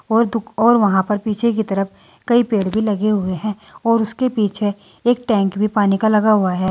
और वहां पर पीछे की तरफ कई पेड़ भी लगे हुए हैं और उसके पीछे एक टैंक भी पानी का लगा हुआ है।